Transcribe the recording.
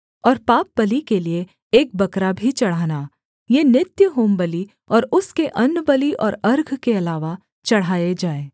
और पापबलि के लिये एक बकरा भी चढ़ाना ये नित्य होमबलि और उसके अन्नबलि और अर्घ के अलावा चढ़ाए जाएँ